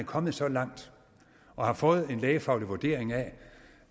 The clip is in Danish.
kommet så langt og har fået en lægefaglig vurdering af